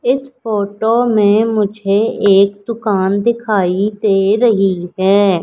इस फोटो में मुझे एक दुकान दिखाई दे रही है।